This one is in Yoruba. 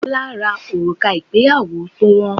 Bola ra òrùka ìgbéyàwó tó wọn